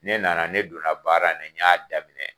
Ne nana ne donna baara in na y'a daminɛ.